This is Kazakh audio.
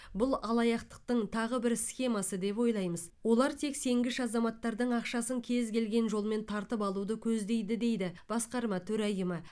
бұл алаяқтықтың тағы бір схемасы деп ойлаймыз олар тек сенгіш азаматтардың ақшасын кез келген жолмен тартып алуды көздейді дейді басқарма төрайымы